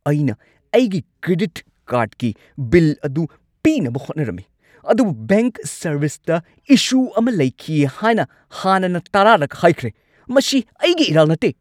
ꯑꯩꯅ ꯑꯩꯒꯤ ꯀ꯭ꯔꯦꯗꯤꯠ ꯀꯥꯔꯗꯀꯤ ꯕꯤꯜ ꯑꯗꯨ ꯄꯤꯅꯕ ꯍꯣꯠꯅꯔꯝꯃꯤ ꯑꯗꯨꯕꯨ ꯕꯦꯡꯛ ꯁꯔꯚꯤꯁꯇ ꯏꯁꯨ ꯑꯃ ꯂꯩꯈꯤ ꯍꯥꯏꯅ ꯍꯥꯟꯅꯅ ꯇꯔꯥꯔꯛ ꯍꯥꯏꯈ꯭ꯔꯦ꯫ ꯃꯁꯤ ꯑꯩꯒꯤ ꯏꯔꯥꯜ ꯅꯠꯇꯦ!